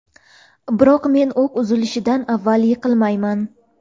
Biroq men o‘q uzilishidan avval yiqilmayman.